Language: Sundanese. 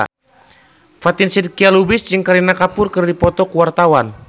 Fatin Shidqia Lubis jeung Kareena Kapoor keur dipoto ku wartawan